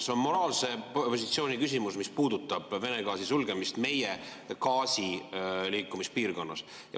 See on moraalse positsiooni küsimus, mis puudutab Vene gaasi sulgemist meie gaasi liikumise piirkonnas.